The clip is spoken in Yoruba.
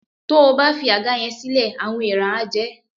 Tó o bá fi àga yẹn sílẹ̀, àwọn eèrà á jẹ ẹ́